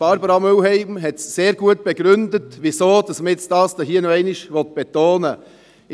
Barbara Mühlheim hat sehr gut begründet, weshalb man dies hier noch einmal betonen will.